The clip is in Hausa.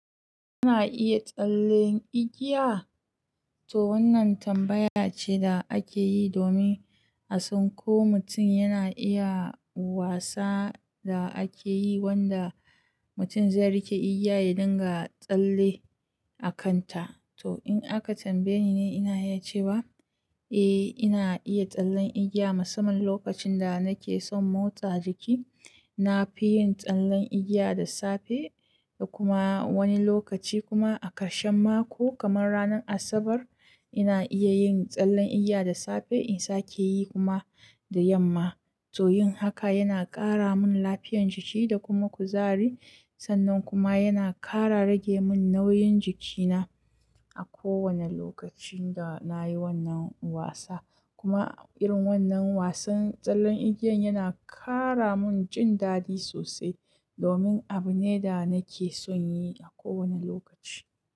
Ana iya tsallen igiya? To wannan tambaya ce da ake yi domin a san ko mutum yana iya wasa da ake yi wanda mutum zai riƙe igiya ya dinga tsalle a kanta. To in aka tambaye ni, ina iya cewa l, eh ina iya tsallen igiya musamman lokacin da nake son motsa jiki. Na fi yin tsallen igiya da safe da kuma wani lokaci kuma a karshen mako kamar ranar Asabar. Ina iya yin tsallen igiya da safe in sake yi kuma da yamma. To yin haka yana ƙara mun lafiyan jiki da kuma kuzari. Sannan kuma yana ƙara rage mun nauyin jikina a kowane lokacin da na yi wannan wasa. Kuma irin wannan wasan tsallen igiyan yana ƙara mun jin dadi sosai domin abu ne da nake son yi a kowane lokaci.